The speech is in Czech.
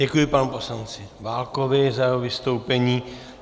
Děkuji panu poslanci Válkovi za jeho vystoupení.